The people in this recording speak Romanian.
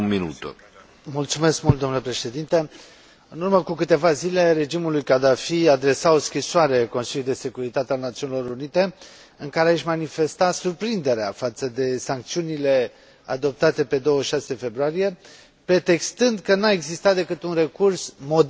În urmă cu câteva zile, regimul lui Gaddafi adresa o scrisoare Consiliului de Securitate al Națiunilor Unite, în care își manifesta surprinderea față de sancțiunile adoptate pe 26 februarie, pretextând că nu a existat decât un recurs moderat, spunea Gaddafi, la forță,